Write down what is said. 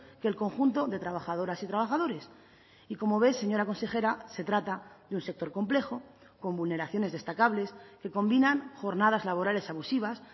que el conjunto de trabajadoras y trabajadores y como ve señora consejera se trata de un sector complejo con vulneraciones destacables que combinan jornadas laborales abusivas